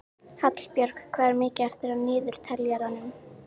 Hallbjörg, hvað er mikið eftir af niðurteljaranum?